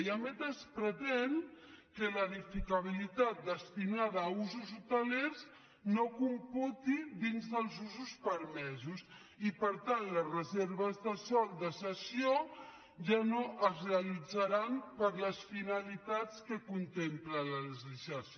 i a més es pretén que l’edificabilitat destinada a usos hotelers no computi dins dels usos permesos i per tant les reserves de sòl de cessió ja no es realitzaran per a les finalitats que contempla la legislació